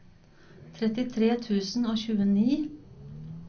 trettitre tusen og tjueni